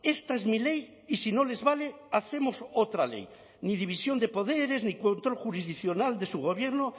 esta es mi ley y si no les vale hacemos otra ley ni división de poderes ni control jurisdiccional de su gobierno